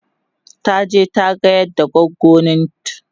taje ta gayar da goggonint